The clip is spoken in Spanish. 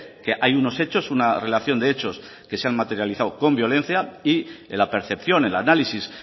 que hay unos hechos una relación de hechos que se han materializado con violencia y la percepción el análisis